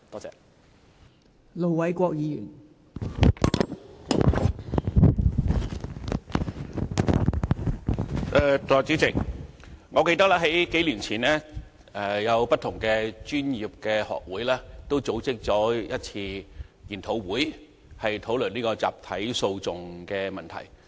代理主席，我記得數年前，不同的專業學會曾組織一次研討會，討論集體訴訟的問題。